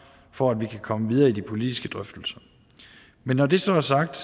for at vi kan komme videre i de politiske drøftelser men når det så er sagt